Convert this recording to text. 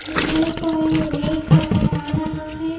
ये कोई लेक नजर आ रहा है।